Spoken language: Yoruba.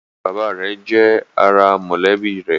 Arákùnrin-bàbá rẹ̀ jẹ́ ará mọ̀lẹ́bí rẹ̀